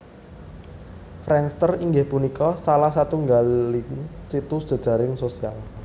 Friendster inggih punika salah satunggaling situs jejaring sosial